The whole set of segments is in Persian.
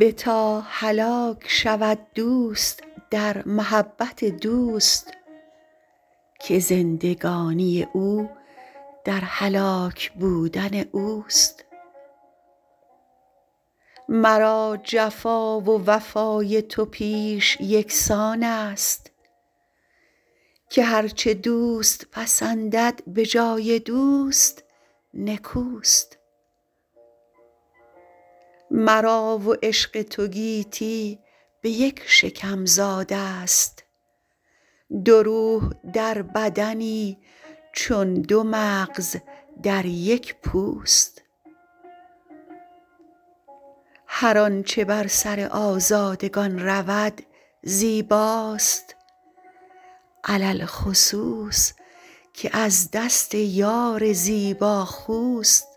بتا هلاک شود دوست در محبت دوست که زندگانی او در هلاک بودن اوست مرا جفا و وفای تو پیش یکسان است که هر چه دوست پسندد به جای دوست نکوست مرا و عشق تو گیتی به یک شکم زاده ست دو روح در بدنی چون دو مغز در یک پوست هر آنچه بر سر آزادگان رود زیباست علی الخصوص که از دست یار زیباخوست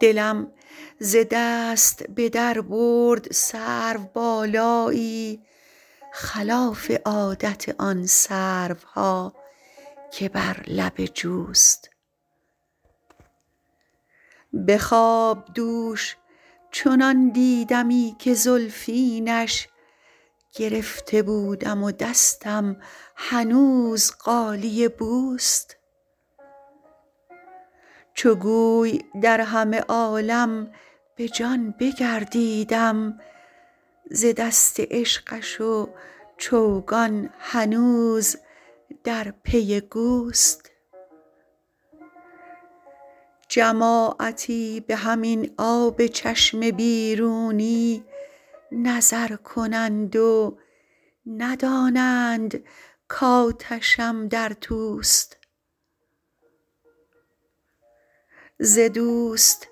دلم ز دست به در برد سروبالایی خلاف عادت آن سروها که بر لب جوست به خواب دوش چنان دیدمی که زلفینش گرفته بودم و دستم هنوز غالیه بوست چو گوی در همه عالم به جان بگردیدم ز دست عشقش و چوگان هنوز در پی گوست جماعتی به همین آب چشم بیرونی نظر کنند و ندانند کآتشم در توست ز دوست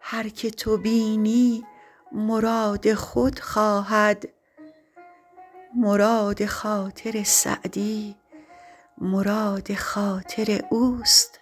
هر که تو بینی مراد خود خواهد مراد خاطر سعدی مراد خاطر اوست